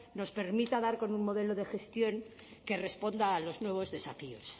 nos permita dar con un modelo de gestión que responda a los nuevos desafíos